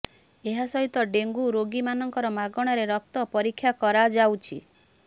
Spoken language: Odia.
ଏହା ସହିତ ଡେଙ୍ଗୁ ରୋଗୀମାନଙ୍କର ମାଗଣାରେ ରକ୍ତ ପରୀକ୍ଷା କରାଯାଉଛି